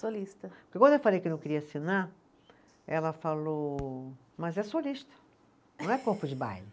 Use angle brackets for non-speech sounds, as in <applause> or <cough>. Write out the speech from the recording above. Solista. <unintelligible> Quando eu falei que não queria assinar, ela falou, mas é solista, <laughs> não é corpo de baile.